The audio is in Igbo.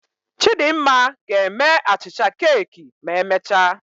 Chidimma ga-eme achịcha keeki ma emechaa